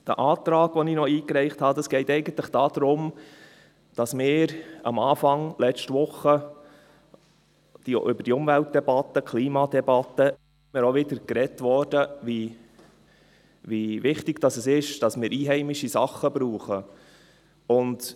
Beim Antrag, den ich eingereicht habe, geht es eigentlich darum, dass wir Anfang letzte Woche über die Umweltdebatte, die Klimadebatte gesprochen haben und darüber, wie wichtig es ist, dass wir einheimische Dinge verwenden.